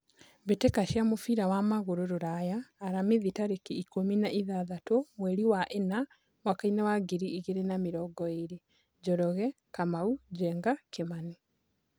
Mbĩtĩka cia mũbira wa magũrũ Ruraya Aramithi tarĩki ikũmi na ithathatũ mweri wa ĩna mwakainĩ wa ngiri igĩrĩ na mĩrongo ĩrĩ:Njoroge, Kamau, Njenga, Kimani.